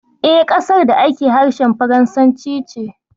E, ƙasar da ake harshen faransanci ce.